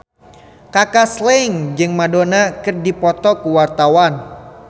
Kaka Slank jeung Madonna keur dipoto ku wartawan